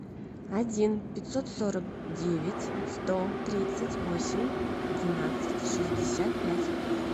один пятьсот сорок девять сто тридцать восемь двенадцать шестьдесят пять